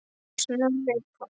Snorri Páll.